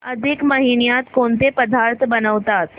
अधिक महिन्यात कोणते पदार्थ बनवतात